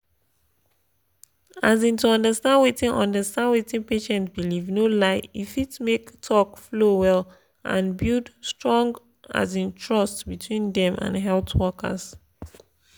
um to understand wetin understand wetin patient believe no lie e fit make talk flow well and build strong um trust between dem and health workers.